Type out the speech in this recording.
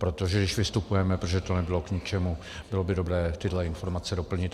Protože když vystupujeme, protože to nebylo k ničemu, bylo by dobré tyto informace doplnit.